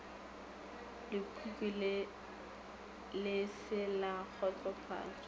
lekhwi le se la kgotsofatšwa